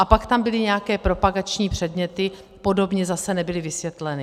A pak tam byly nějaké propagační předměty, podobně zase nebyly vysvětleny.